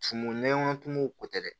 Tumumu nɛɲɔ tumu ko tɛ dɛ